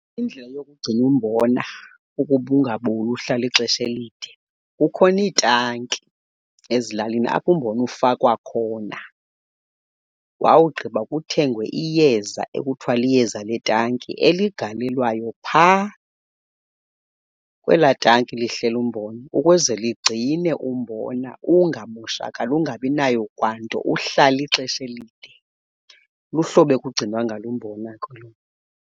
Indlela yokugcina umbona ukuba ungaboli uhlale ixesha elide, kukhona iitanki ezilalini apho umbona ufakwa khona wawugqiba kuthengwe iyeza ekuthiwa liyeza letanki eligalelwayo phaa kwelaa tanki lihleli umbona, ukuze ligcine umbona ungamoshakali, ungabi nayo kwanto, uhlale ixesha elide. Luhlobo ekugcinwa ngalo umbona ke elo.